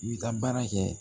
I bɛ taa baara kɛ